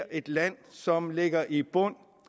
et land som ligger i bund